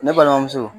Ne balimamuso